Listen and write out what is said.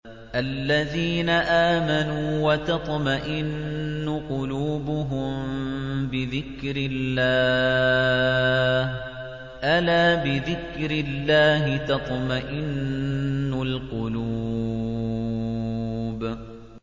الَّذِينَ آمَنُوا وَتَطْمَئِنُّ قُلُوبُهُم بِذِكْرِ اللَّهِ ۗ أَلَا بِذِكْرِ اللَّهِ تَطْمَئِنُّ الْقُلُوبُ